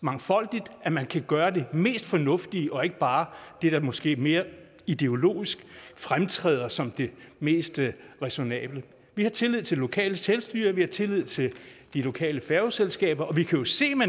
mangfoldigt nemlig at man kan gøre det mest fornuftige og ikke bare det der måske mere ideologisk fremtræder som det mest ræsonnable vi har tillid til det lokale selvstyre vi har tillid til de lokale færgeselskaber vi kan jo se man